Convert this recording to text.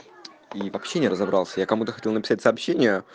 и вообще не разобрался я кому-то хотел написать сообщение